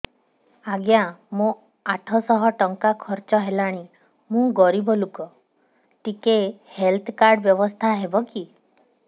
ଆଜ୍ଞା ମୋ ଆଠ ସହ ଟଙ୍କା ଖର୍ଚ୍ଚ ହେଲାଣି ମୁଁ ଗରିବ ଲୁକ ଟିକେ ହେଲ୍ଥ କାର୍ଡ ବ୍ୟବସ୍ଥା ହବ କି